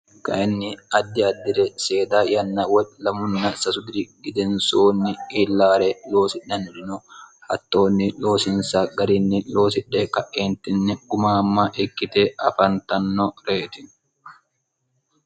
kainni addi addire seeda yanna wo lamunna sasu diri gidensoonni illaare loosinannirino hattoonni loosinsa garinni loosidhe ka'eentinni gumaamma ikkite afantanno reeti